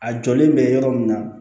A jɔlen bɛ yɔrɔ min na